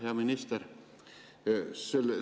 Hea minister!